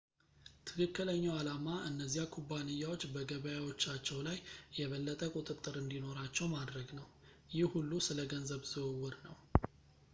ትክክለኛው ዓላማ እነዚያ ኩባንያዎች በገበያዎቻቸው ላይ የበለጠ ቁጥጥር እንዲኖራቸው ማድረግ ነው ይህ ሁሉ ስለ ገንዘብ ዝውውር ነው